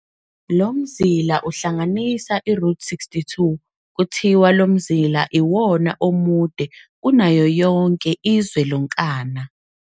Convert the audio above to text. Lomzila uhlanganisa iRoute 62, kuthiwa lomzila iwona omude kanayo yonke izwe lonkana.